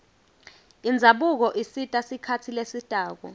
indzabuko isita sikhatsi lesitako